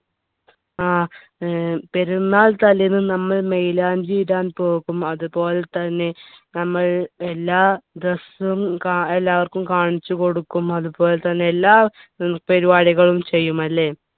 ആഹ് ഏർ പെരുന്നാൾ തലേന്ന് നമ്മൾ മൈലാഞ്ചി ഇടാൻ പോകും അതുപോലെ തന്നെ നമ്മൾ എല്ലാ dress ഉം കാ എല്ലാവർക്കും കാണിച്ചു കൊടുക്കും അതുപോലെതന്നെ എല്ലാ ഉം പരിപാടികളും ചെയ്യും അല്ലേ